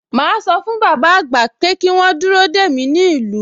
Màá sọ fún bàbá àgbà pé kí wọ́n dúró dè mí nílùú